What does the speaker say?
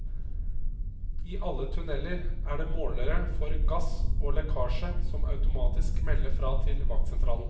I alle tunneler er det målere for gass og lekkasje som automatisk melder fra til vaktsentralen.